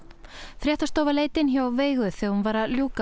fréttastofa leit inn hjá Veigu þegar hún var að ljúka